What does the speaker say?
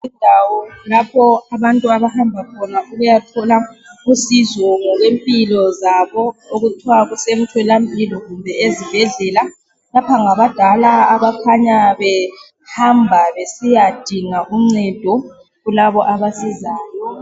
indawo lapho abantu abahamba khona besiyathola usizo ngokwempilo zabo okuthiwa kusemtholampilo kumbe ezibhedlela lapho ngabadala abakhanya behamba besiya dinga uncdeo kulabo abasizayo